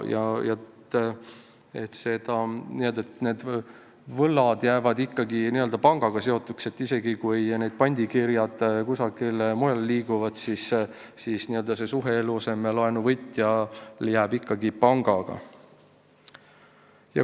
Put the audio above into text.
Ja need võlad jäävad ikkagi pangaga seotuks: isegi kui pandikirjad kusagile mujale liiguvad, eluasemelaenu võtjal jääb suhe ikka pangaga.